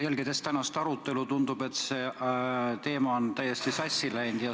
Jälgides tänast arutelu tundub, et see teema on täiesti sassi läinud.